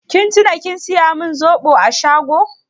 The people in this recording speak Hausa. Kin tuna kin saya min zoɓo a shago?